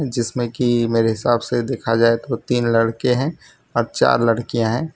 जिसमें की मेरे हिसाब से देखा जाए तो तीन लड़के हैं अ चार लड़कियां हैं।